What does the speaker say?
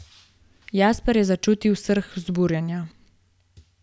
Jasper je začutil srh vzburjenja.